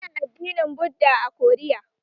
Ana addinin Buddha a Koriya